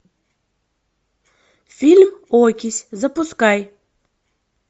фильм окись запускай